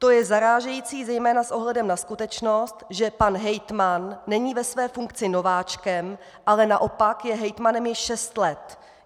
To je zarážející zejména s ohledem na skutečnost, že pan hejtman není ve své funkci nováčkem, ale naopak je hejtmanem již šest let.